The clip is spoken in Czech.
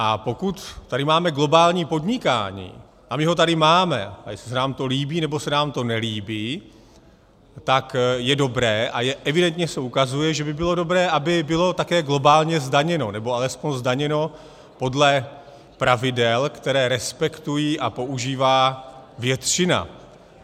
A pokud tady máme globální podnikání, a my ho tady máme, a jestli se nám to líbí, nebo se nám to nelíbí, tak je dobré, a evidentně se ukazuje, že by bylo dobré, aby bylo také globálně zdaněno, nebo alespoň zdaněno podle pravidel, která respektuje a používá většina.